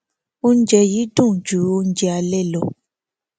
oúnjẹ yìí dùn ju oúnjẹ alẹ lọ